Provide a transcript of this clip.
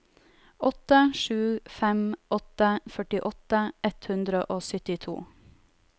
åtte sju fem åtte førtiåtte ett hundre og syttito